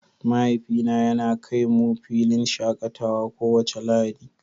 mahaifi na yana kai mu filin shakatawa kowace Lahadi.